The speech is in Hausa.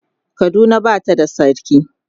Kaduna Bata da sarki